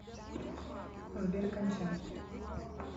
сбер конча